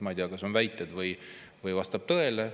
Ma ei tea, kas see on väide või vastab tõele.